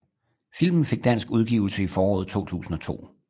Filmen fik dansk udgivelse i foråret 2002